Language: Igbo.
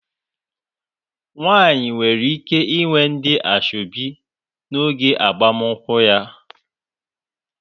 Nwaanyị nwere ike inwe ndị asoebi n'oge agbamakwụkwọ ya.